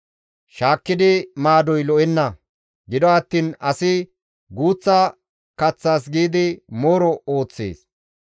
Shaakkidi maadoy lo7enna; gido attiin asi guuththa kaththas giidi mooro ooththees.